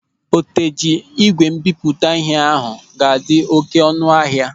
Oteji ígwè mbipụta ịhe ahụ ga-adị oké ọnụ ahịa.